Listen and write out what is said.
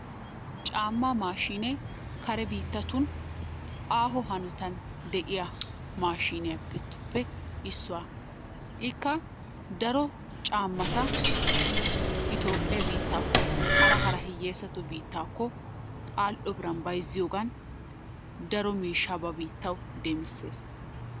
Caammaa maashinnee kare biittatun aaho hanottan deiya maashshinnettuppe issuwa. Ikka daro caammatta itoophphee biitttakko hara hara hiyeesaa bitttatukko al'o biran bayzziyogaan daro mishshaa ba biittawu demissees.